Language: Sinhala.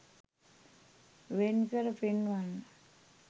වෙන්කර පෙන්වන්න.